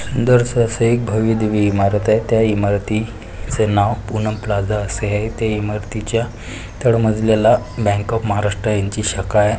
दर स असं एक भव्यदिव्य इमारत आहे. त्या इमारती चे नाव पूनम प्लाझा असे आहे ते इमारतीच्या तड मजल्याला बँक ऑफ महाराष्ट्रा यांची शाखा आहे.